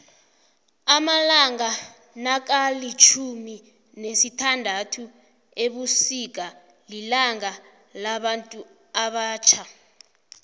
amalanga nakalitjhumi nesithanduthu ebusika lilanga labantu abatjha